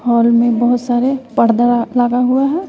Hall में बहोत सारे पर्दा लगा हुआ है।